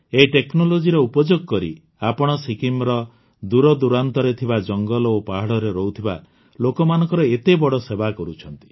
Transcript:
ଏହି technologyର ଉପଯୋଗ କରି ଆପଣ ସିକିମ୍ର ଦୂରଦୂରାନ୍ତରେ ଥିବା ଜଙ୍ଗଲ ଓ ପାହାଡ଼ରେ ରହୁଥିବା ଲୋକମାନଙ୍କର ଏତେବଡ଼ ସେବା କରୁଛନ୍ତି